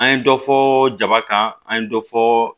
An ye dɔ fɔ jaba kan an ye dɔ fɔ